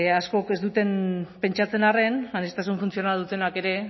askok ez duten pentsatzen arren aniztasun funtzionala dutenak ere